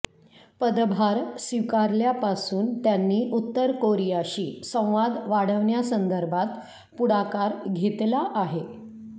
पदभार स्वीकारल्यापासून त्यांनी उत्तर कोरियाशी संवाद वाढवण्यासंदर्भात पुढाकार घेतला आहे